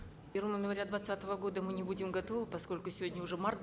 в первому января двадцатого года мы не будем готовы поскольку сегодня уже март